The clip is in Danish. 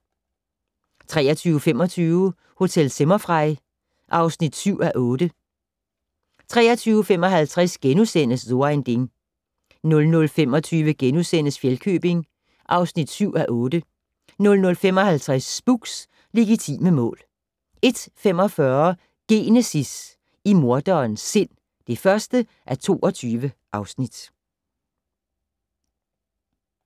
23:25: Hotel Zimmerfrei (7:8) 23:55: So ein Ding * 00:25: Fjellkøbing (7:8) 00:55: Spooks: Legitime mål 01:45: Genesis - i morderens sind (1:22)